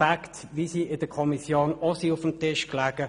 Dies sind Fakten, wie sie der Kommission auch vorlagen.